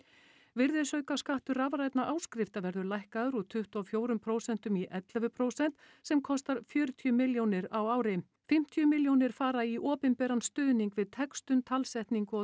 virðisaukaskattur rafrænna áskrifta verður lækkaður úr tuttugu og fjögur prósent í ellefu prósent sem kostar fjörutíu milljónir á ári fimmtíu milljónir fara í opinberan stuðning við textun talsetningu og